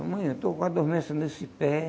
Ô mainha, estou com uma dormência nesse pé.